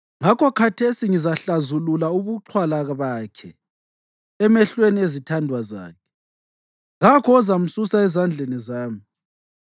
Ngakho khathesi ngizahlazulula ukuxhwala bakhe emehlweni ezithandwa zakhe; kakho ozamsusa ezandleni zami.